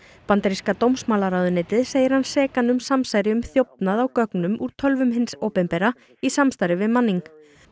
bandaríska dómsmálaráðuneytið segir hann sekan um samsæri um þjófnað á gögnum úr tölvum hins opinbera í samstarfi við Manning